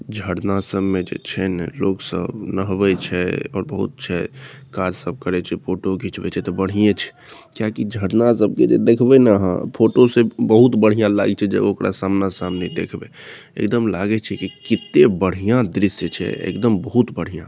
झरना सब मे जे छै ने लोग सब नहबे छै बहुत छै फोटो घीचबे छै ते बढिया छै किया की झरना सब के ते देखबे ने आहां फोटो सब बहुत बढ़िया लागे छै ओकरा समना समनी देखबे एकदम लागे छै की केते बढ़िया दृश्य छै एकदम बहुत बढ़िया।